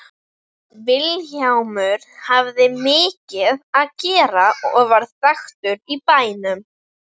Vilhjálmur hafði mikið að gera og varð þekktur í bænum.